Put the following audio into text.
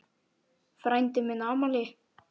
Frændi minn á afmæli.